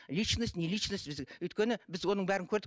личность не личность біз өйткені біз оның бәрін көрдік